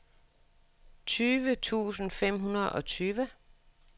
tyve tusind fem hundrede og tyve